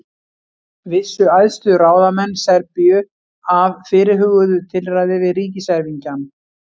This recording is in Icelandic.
Vissu æðstu ráðamenn Serbíu af fyrirhuguðu tilræði við ríkiserfingjann?